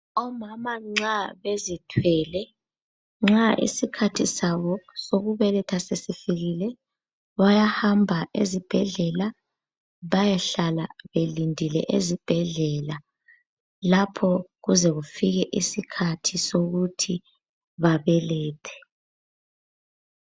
Omama nxa bezithwele, nxa isikhathi sabo sokubeletha sesifikile bayahamba ezibhedlela, bayehlala belindile ezibhedlela lapho kuze kufike isikhathi sokuthi babelethe.